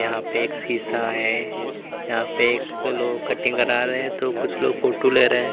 यहां पे एक शीशा है यहां पे एक लोग कटिंग करा रहे हैं तो कुछ लोग फोटो ले रहे हैं।